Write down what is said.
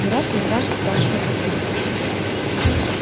не раз митраша спрашивал отца